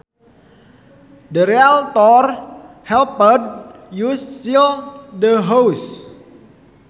The realtor helped us sell the house